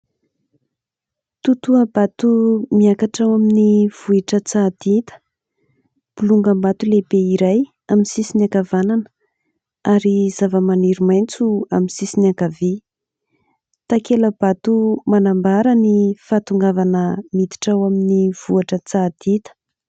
Totoha-bato miakatra ao amin'ny vohitr'Antsahadinta. Bolongam-bato lehibe iray amin'ny sisiny ankavanana ary zavamaniry maitso amin'ny sisiny ankavia. Takela-bato manambara ny fahatongavana miditra ao amin'ny vohitr'Antsahadinta.